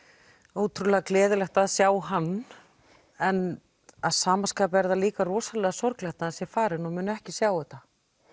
ótrúlega gleðilegt að sjá hann en að sama skapi er það líka rosalega sorglegt að hann sé farinn og muni ekki sjá þetta